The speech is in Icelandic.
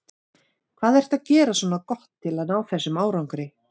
Hvað ertu að gera svona gott til að ná þessum árangri?